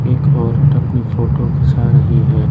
एक औरत अपनी फोटो खींचा रही है।